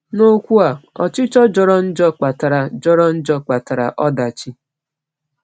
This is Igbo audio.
N’okwu a, ọchịchọ jọrọ njọ kpatara jọrọ njọ kpatara ọdachi.